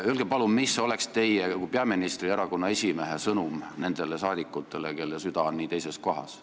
Öelge palun, mis oleks teie kui peaministri ja erakonna esimehe sõnum nendele saadikutele, kelle süda on nii teises kohas.